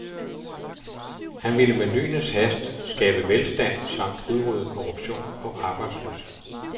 Han ville med lynets hast skabe velstand samt udrydde korruption og arbejdsløshed.